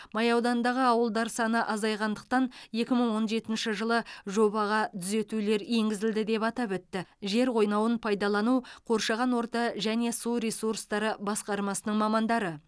май ауданындағы ауылдар саны азайғандықтан екі мың он жетінші жылы жобаға түзетулер енгізілді деп атап өтті жер қойнауын пайдалану қоршаған орта және су ресурстары басқармасының мамандары